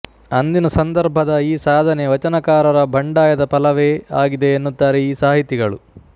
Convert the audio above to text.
ಅಂದಿನ ಸಂದರ್ಭದ ಈ ಸಾಧನೆ ವಚನಕಾರರ ಬಂಡಾಯದ ಫಲವೇ ಆಗಿದೆ ಎನ್ನುತ್ತಾರೆ ಈ ಸಾಹಿತಿಗಳು